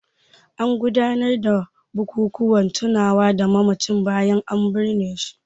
An gudanar da bukukuwan tunawa da mamacin bayan an binne shi.